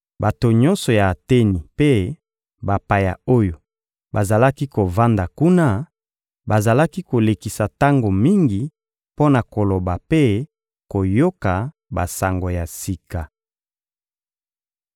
(Bato nyonso ya Ateni mpe bapaya oyo bazalaki kovanda kuna bazalaki kolekisa tango mingi mpo na koloba mpe koyoka basango ya sika).